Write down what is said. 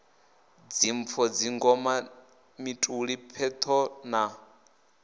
dzimpfo dzingoma mituli pheṱho na